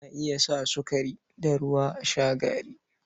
Ana iya sa sukari da ruwa a sha gari.